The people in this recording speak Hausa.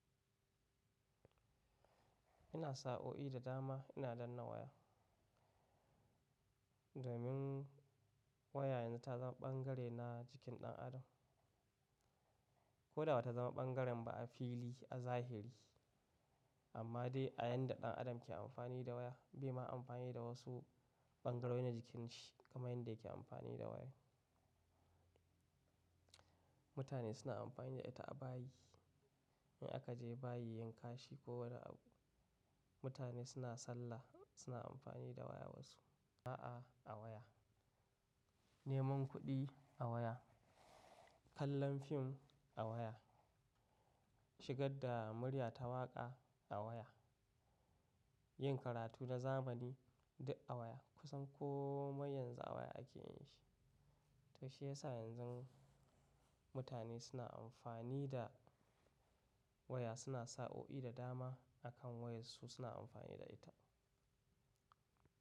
Ina sa o'i da dama ina danna waya. Domin waya yanzu ta zama bangare na jikin ɗan adam. Ko da ba ta zama bangaren ba a fili a zahiri, amma dai a yanda ɗan adam ke amfani da waya bai ma amfani da wasu bangarori na jikin shi kamar yadda yake amfani da waya. Mutane suna amfani da ita a bayi, in aka je bayi yin kashi ko wani abu. Mutane suna sallah suna amfani da waya wasu, a'a a waya, neman kuɗi a waya, kallon fim a waya, shigar da murya ta waƙa a waya, yin karatu na zamani duk a waya. Kusan komai yanzu a waya ake yin shi. Shi yasa yanzu mutane suna amfani da waya suna sa o'i da dama a kan wayar su suna amfani da ita.